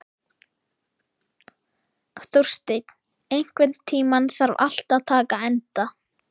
Þórsteinn, einhvern tímann þarf allt að taka enda.